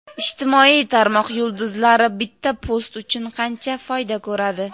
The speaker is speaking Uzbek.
Ijtimoiy tarmoq yulduzlari bitta post uchun qancha foyda ko‘radi?.